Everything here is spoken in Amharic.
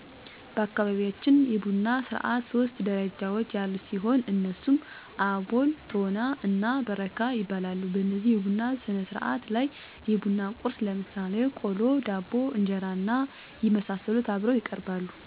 በአካባቢያችን የቡና ስርዓት ሶስት ደረጃዎች ያሉት ሲሆን እነሱም አቦል፤ ቶና እና በረካ ይባላሉ። በዚህ የቡና ስነስርዓት ላይ የቡና ቁርስ ለምሳሌ ቆሎ፣ ዳቦ፣ እንጀራና የመሳሰሉት አብረው ይቀርባሉ። በዚህ ስነ ስርዓት ላይ ማህበረሰቡ ማህበራዊ፣ ኢኮኖሚያዊ ወጎችን እያነሱ ይወያያሉ፤ መፍትሔ ያስቀምጣሉ። እናቶች ስለልጆች አስተዳደግና ቤተሰብ አስተዳደር ላይ እንዲሁም ሌሎች ኢኮኖሚን ሊያሳድጉ የሚችሉ ሙያዊ ስራዎችን ለምሳሌ ጥጥ ፈተላ እና የመሳሰሉት እየሰሩ ይወያያሉ።